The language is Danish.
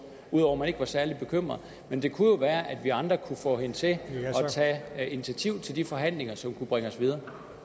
ud over at man ikke var særlig bekymret men det kunne jo være at vi andre kunne få hende til at tage initiativ til de forhandlinger som kunne bringe os videre